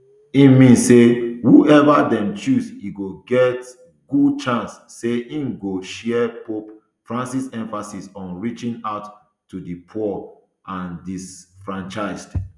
e mean say whoever dem chose e get good chance say im go share pope francis emphasis on reaching out to di poor and disenfranchised